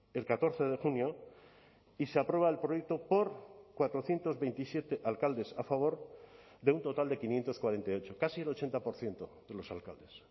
el catorce de junio y se aprueba el proyecto por cuatrocientos veintisiete alcaldes a favor de un total de quinientos cuarenta y ocho casi el ochenta por ciento de los alcaldes